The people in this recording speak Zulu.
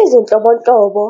Izinhlobonhlobo